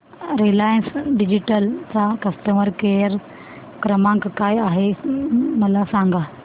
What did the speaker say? Reliance digital चा customer care क्रमांक काय आहे मला सांगा